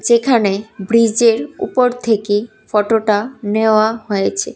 সেখানে ব্রীজের উপর থেকে ফটোটা নেওয়া হয়েছে।